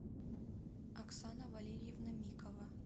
оксана валерьевна микова